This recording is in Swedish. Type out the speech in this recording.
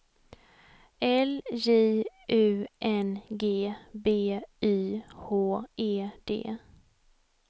L J U N G B Y H E D